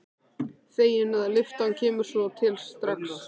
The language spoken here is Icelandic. Fegin að lyftan kemur svo til strax.